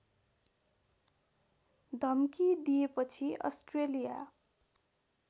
धम्की दिएपछि अस्ट्रेलिया